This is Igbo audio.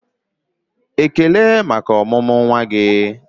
"Ekele maka ọmụmụ nwa gị!"